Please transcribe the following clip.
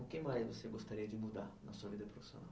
O que mais você gostaria de mudar na sua vida profissional?